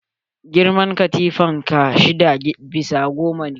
Girman katifan ka shida bisa goma ne?